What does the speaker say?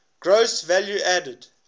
gross value added